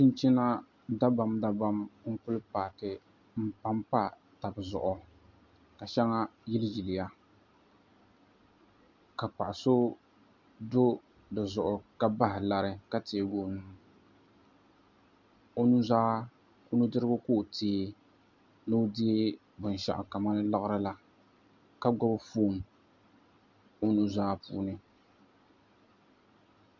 Chinchina dabam dabam n ku paaki n panpa tabi zuɣu ka shɛŋa yili yili ya ka paɣa so do dizuɣu ka bahi lari ka teegi o nudirigu ni o deei binshaɣu kamani laɣari la ka gbubi foon o nuzaa puuni